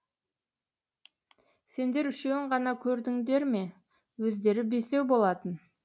сендер үшеуін ғана көрдіңдер ме өздері бесеу болатын